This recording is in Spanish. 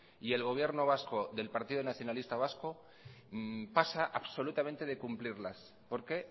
y el gobierno vasco del partido nacionalista vasco pasa absolutamente de cumplirlas porque